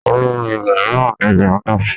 Olórin ilẹ̀ mìíràn ni Rìhánà.